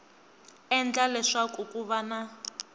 endla leswaku ku va na